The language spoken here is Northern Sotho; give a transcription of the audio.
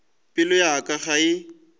pelo ya ka ga e